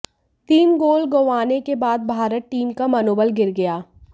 तीन गोल गंवाने के बाद भारत टीम का मनोबल गिर गया